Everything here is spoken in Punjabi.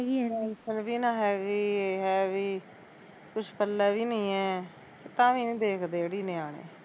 ਹੈਗੀ ਐ ਪੈਨਸ਼ਨ ਵੀ ਨੀ ਹੈਗੀ ਹੈ ਵੀ ਕੁਸ਼ ਪੱਲੇ ਵੀ ਨੀ ਐ, ਤਾਂ ਵੀ ਨੀ ਦੇਖਦੇ ਅੜੀਏ ਨਿਆਣੇ